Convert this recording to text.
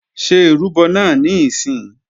Ṣé ìrúbọ náà níìsín!